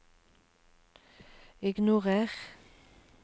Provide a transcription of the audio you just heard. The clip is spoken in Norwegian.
ignorer